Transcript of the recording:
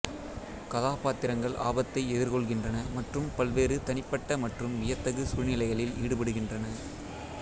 கதாபாத்திரங்கள் ஆபத்தை எதிர்கொள்கின்றன மற்றும் பல்வேறு தனிப்பட்ட மற்றும் வியத்தகு சூழ்நிலைகளில் ஈடுபடுகின்றன